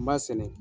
N b'a sɛnɛ